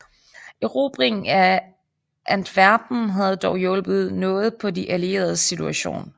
Erobringen af Antwerpen havde dog hjulpet noget på de allieredes situation